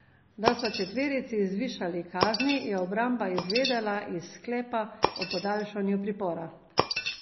Da so četverici zvišali kazni, je obramba izvedela iz sklepa o podaljšanju pripora.